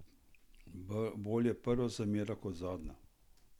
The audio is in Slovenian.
Bolje prva zamera kot zadnja!